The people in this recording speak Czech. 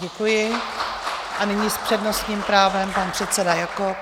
Děkuji a nyní s přednostním právem pan předseda Jakob.